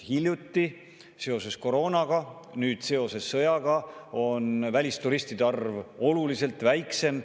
Nüüd on aga sõja tõttu välisturistide arv oluliselt väiksem.